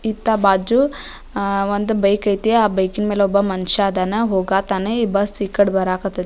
ಇತ್ತ ಬಾಜು ಅಹ್ ಒಂದ್ ಬೈಕ್ ಐತಿ ಆಹ್ಹ್ ಬೈಕ್ ನ ಮೇಲೆ ಒಬ್ಬ ಮನುಷ್ಯ ಅದಾನ ಹೋಗತನ ಬಸ್ಸ ಈ ಕಡೆ ಬರಾಕತೈತಿ.